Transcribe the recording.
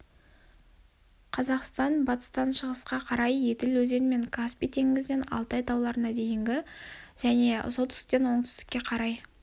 қазақстан батыстан шығысқа қарай еділ өзені мен каспий теңізінен алтай тауларына дейін және солтүстіктен оңтүстікке қарай